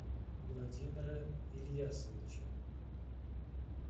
владимира ильясовича